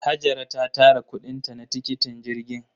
Hajara ta tara kuɗin ta na tikitin jirgin.